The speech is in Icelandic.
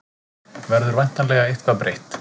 Verður væntanlega eitthvað breytt